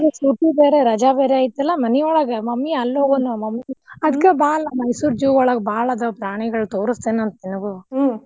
ಬೇರೆ ರಜಾ ಬೇರೆ ಇತ್ತಲ್ಲಾ ಮನಿಯೊಳಗ mammy ಅಲ್ ಹೋಗೂಣು mammy ಅದ್ಕ ಬಾ ಅಲಾ ಮೈಸೂರ್ zoo ಒಳಗ್ ಬಾಳ ಅದಾವ ಪ್ರಾಣಿಗೋಳ ತೋರಸ್ತೆನಂತ ನಿಂಗು.